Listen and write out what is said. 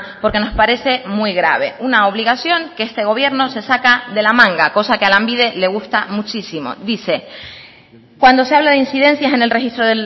porque nos parece muy grave una obligación que este gobierno se saca de la manga cosa que a lanbide le gusta muchísimo dice cuando se habla de incidencias en el registro